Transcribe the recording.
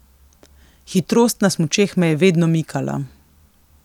Hitrost na smučeh me je vedno mikala.